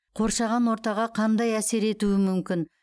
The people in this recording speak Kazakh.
қоршаған ортаға қандай әсер етуі мүмкін